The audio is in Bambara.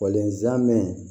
zamɛ